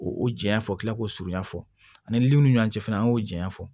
O janya fɔla k'o surunya fɔ ani munnu cɛ fɛnɛ an y'o janya fɔ